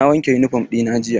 Na wanke yunifom ɗina jiya.